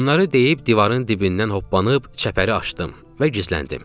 Bunları deyib divarın dibindən hoppanıb çəpəri açdım və gizləndim.